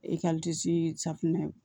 safinɛ